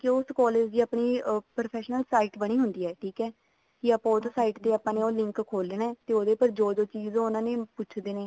ਉਸ collage ਦੀ ਆਪਣੀ professional site ਬਣੀ ਹੁੰਦੀ ਆ ਠੀਕ ਹੈ ਆਪਾਂ ਉਹ site ਤੇ link ਖੋਲ ਲੈਣਾ ਤੇ ਉਹਦੇ ਪਰ ਜੋ ਜੋ ਚੀਜ਼ ਉਹ ਪੁੱਛਦੇ ਨੇ